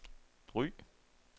Ry